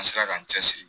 An sera k'an cɛsiri